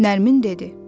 Nərmin dedi: